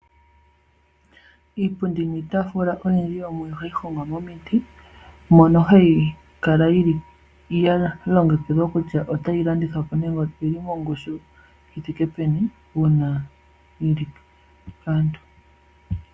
Iipundi niitaafula iyindji yo muyo oha yi hongwa momiti mono hayi kala ya longekidhwa kutya ota yi landithwapo nenge oyi li mongushu yithike peni uuna yili paantu.